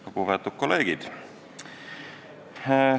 Lugupeetud kolleegid!